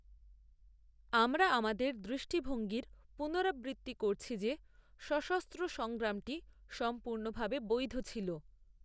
আমরা আমাদের দৃষ্টিভঙ্গির পুনরাবৃত্তি করছি যে সশস্ত্র সংগ্রামটি সম্পূর্ণভাবে বৈধ ছিল।